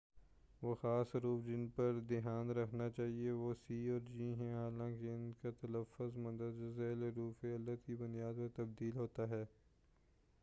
وہ خاص حروف جن پر دھیان رکھنا چاہئے وہ سی اور جی ہیں حالانکہ ان کا تلّفظ مندرجہ ذیل حروف علت کی بنیاد پر تبدیل ہوتا ہے